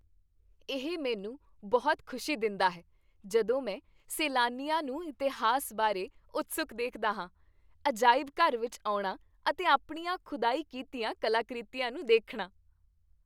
ਇਹ ਮੈਨੂੰ ਬਹੁਤ ਖੁਸ਼ੀ ਦਿੰਦਾ ਹੈ ਜਦੋਂ ਮੈਂ ਸੈਲਾਨੀਆਂ ਨੂੰ ਇਤਿਹਾਸ ਬਾਰੇ ਉਤਸੁਕ ਦੇਖਦਾ ਹਾਂ, ਅਜਾਇਬ ਘਰ ਵਿੱਚ ਆਉਣਾ, ਅਤੇ ਆਪਣੀਆਂ ਖੁਦਾਈ ਕੀਤੀਆਂ ਕਲਾਕ੍ਰਿਤੀਆਂ ਨੂੰ ਦੇਖਣਾ।